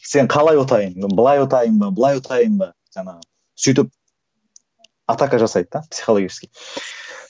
сені қалай ұтайын былай ұтайын ба былай ұтайын ба жаңағы сөйтіп атака жасайды да психологически